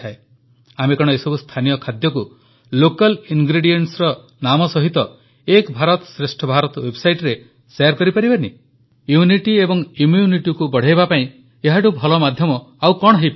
ଆମେ କଣ ଏସବୁ ସ୍ଥାନୀୟ ଖାଦ୍ୟକୁ ଲୋକାଲ ingredientsର ନାମ ସହିତ ଏକ ଭାରତଶ୍ରେଷ୍ଠ ଭାରତ ୱେବସାଇଟରେ ଶେୟାର କରିପାରିବାନି ୟୁନିଟି ଏବଂ Immunityକୁ ବଢ଼ାଇବା ପାଇଁ ଏହାଠୁ ଭଲ ମାଧ୍ୟମ ଆଉ କଣ ହୋଇପାରେ